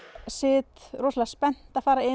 sit rosalega spennt að fara inn